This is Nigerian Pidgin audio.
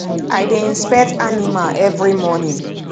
i dey inspect animal every morning